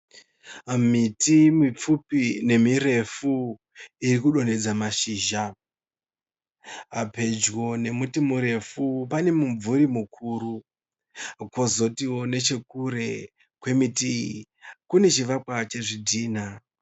Miti mipfupi nemirefu irikudonhedza mashizha pedyo nemuti murefu pane mumvuri mukuru kozotiwo nechekure kwemiti iyi kune chivakwa chezvidhina.